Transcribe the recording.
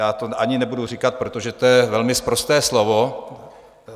Já to ani nebudu říkat, protože to je velmi sprosté slovo.